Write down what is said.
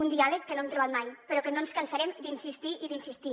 un diàleg que no hem trobat mai però que no ens cansarem d’insistir i d’insistir